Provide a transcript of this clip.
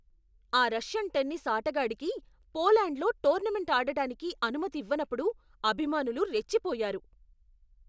ఆ Russian tennis ఆటగాడికి పోలాండ్లో టోర్నమెంట్ ఆడటానికి అనుమతి ఇవ్వనప్పుడు అభిమానులు రెచ్చిపోయారు.